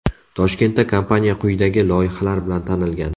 Toshkentda kompaniya quyidagi loyihalar bilan tanilgan: .